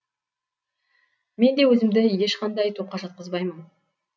мен де өзімді ешқандай топқа жатқызбаймын